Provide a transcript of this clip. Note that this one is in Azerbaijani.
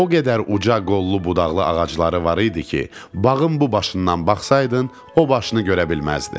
O qədər uca qollu-budaqlı ağacları var idi ki, bağın bu başından baxsaydın, o başını görə bilməzdin.